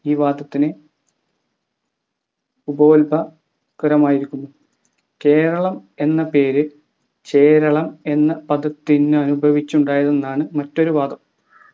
ഈ വാദത്തിന് ഉപോൽബ ക്രമായിരിക്കുന്നു കേരളം എന്ന പേരു ചേരളം എന്ന പദത്തിൽ നിന്നുദ്ഭവിച്ചതാണെന്നാണ് മറ്റൊരു വാദം